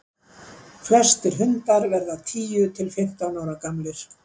flestir hundar verða tíu til fimmtán ára gamlir